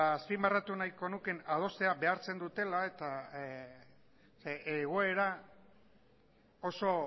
azpimarratu nahiko nukeen adostera behartzen dutela eta egoera oso